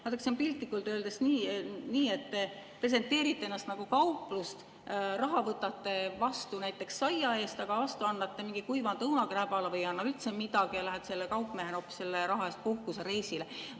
Vaadake, see on piltlikult öeldes nii, et te presenteerite ennast nagu kauplust, raha võtate vastu näiteks saia eest, aga vastu annate mingi kuivanud õunakribala või ei anna üldse midagi ja kaupmehed lähevad saadud raha eest hoopis puhkusereisile.